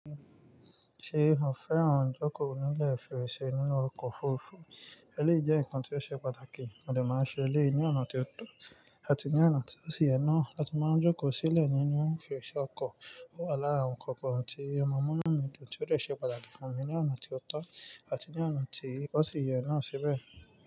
Ṣé o fẹ́ràn jókòó nílẹ̀ féèrè ṣe nínú ọkọ̀ òfurufú? Ẹléyi jẹ́ ǹkan tí ó ṣe pàtàkì, mo dè máa n ṣe èléyìí ní ọ̀nà tí ó tọ́ àti ní ọ̀nà tí ó sì yẹ náà. A tún máa jókòó sílẹ̀ nínú fèrèsé ọkọ̀ lára ọkọ̀ kan tí o máa múnú mi dùn tí ó dẹ̀ ṣe pàtàkì fún mi ní ọ̀nà tí ó tọ́ àti ní ọ̀nà tí ó sì yẹ náà síbẹ̀.